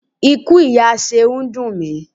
Ikú ìyá Ṣeun dùn mi.